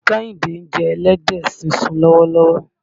Kẹ́hìndé ń jẹ ẹlẹ́dẹ̀ sísun lọ́wọ́lọ́wọ́.